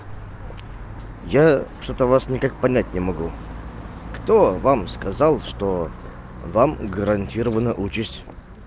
я что-то вас никак понять не могу кто вам сказал что вам гарантирована участь